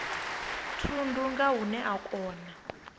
thundu nga hune a kona